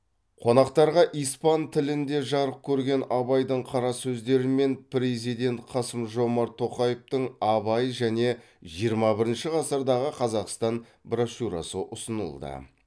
қонақтарға испан тілінде жарық көрген абайдың қара сөздері мен президент қасым жомарт тоқаевтың абай және жиырма бірінші ғасырдағы қазақстан брошюрасы ұсынылды